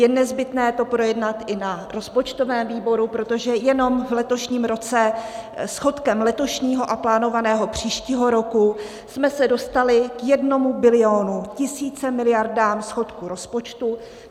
Je nezbytné to projednat i na rozpočtovém výboru, protože jenom v letošním roce schodkem letošního a plánovaného příštího roku jsme se dostali k jednomu bilionu, tisíci miliardám schodku rozpočtu.